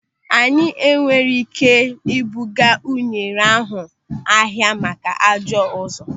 Anyị enweghị ị́ké ịbụga unere ahụ n'ahia maka ajọ ụzọ.